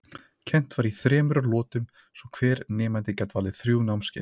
Kennt var í þremur lotum svo hver nemandi gat valið þrjú námskeið.